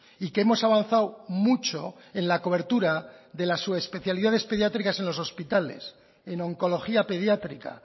y que hemos avanzado mucho en la cobertura de la subespecialidades pediátricas en los hospitales en oncología pediátrica